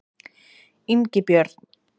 Ingibjörn